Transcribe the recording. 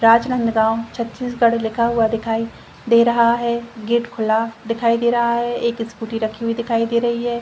राजनंदगांव छत्तीसगढ़ लिखा हुआ दिखाई दे रहा है गेट खुला दिखाई दे रहा है एक स्कूटी रखी हुई दिखाई दे रही है।